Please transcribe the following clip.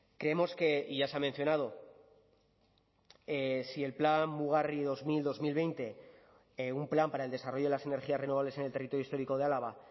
creemos que y ya se ha mencionado si el plan mugarri en dos mil dos mil veinte un plan para el desarrollo de las energías renovables en el territorio histórico de álava